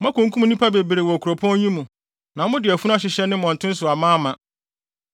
Moakunkum nnipa bebree wɔ kuropɔn yi mu, na mode afunu ahyehyɛ ne mmɔnten so amaama.